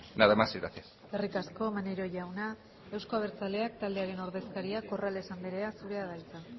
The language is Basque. nada más y gracias eskerrik asko maneiro jauna euzko abertzaleak taldearen ordezkaria corrales andrea zurea da hitza